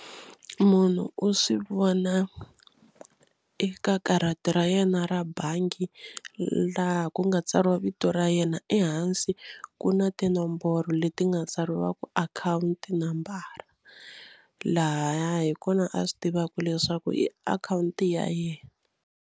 Munhu u swi vona eka karata ra yena ra bangi laha ku nga tsariwa vito ra yena ehansi ku na tinomboro leti nga tsariwa ku akhawunti nambara laha hi kona a swi tivaka leswaku i akhawunti ya yena.